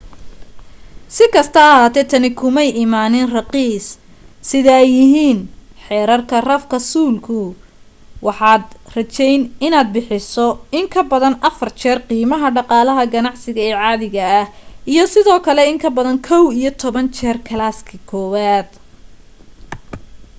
sikasta ha ahaatee tani kumay imaanin raqiis sida ay yihiin xerarka rafka suulku waxaad rajayn inaad bixiso in kabadan afar jeer qiimaha dhaqaalaha ganacsiga ee caadiga ah iyo sidoo kale in kabadan kow iyo toban jeer kalaaskii kowaad